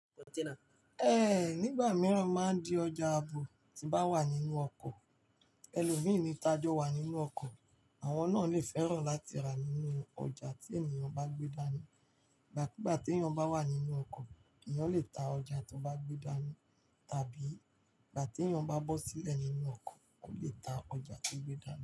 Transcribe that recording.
Ẹ̀ nígbà mìíràn máa di ọjà àbò, tí bá wà nínú ọkọ̀. Ẹ̀lọ̀mínì tajọ̀ wà nínú ọkọ̀, àwọn náà lè fẹ́ràn láti rà nínú ọjà tí ènìyàn bá gbé dání. Ìgbàkúgbà tí èyàn bá wà nínú ọkọ̀, èyàn lè ta ọjà tó bá gbé dání, tàbí ìgbà tí èyàn bá bọ́ sílẹ̀ nínú ọkọ̀, ó lè ta ọjà tó gbé dání.